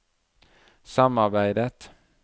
samarbeidet